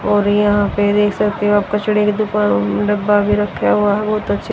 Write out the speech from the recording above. और यहां पे देख सकते हो आप कचरे की दुकान डब्बा भी रखा हुआ है। बहोत अच्छे--